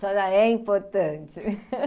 Senhora é importante.